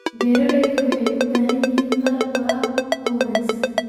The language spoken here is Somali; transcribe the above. Beeraleydu waxay u baahan yihiin qalab waraab oo wanaagsan.